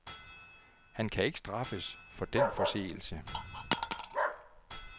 Han kan ikke straffes for den forseelse.